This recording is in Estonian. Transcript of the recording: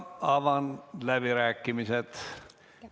Avan läbirääkimised.